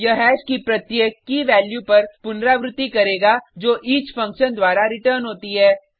यह हैश की प्रत्येक कीवैल्यू पर पुनरावृति करेगा जो ईच फंक्शन द्वारा रिटर्न होती है